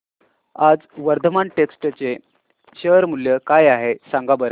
आज वर्धमान टेक्स्ट चे शेअर मूल्य काय आहे सांगा बरं